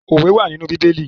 Owé wà nínú bíbélì.